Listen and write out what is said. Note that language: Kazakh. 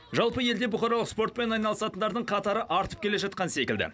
жалпы елде бұқаралық спортпен айналысатындардың қатары артып келе жатқан секілді